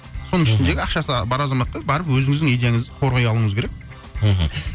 соның ішіндегі ақшасы бар азаматтың барып өзіңіздің идеяңызды қорғай алуыңыз керек мхм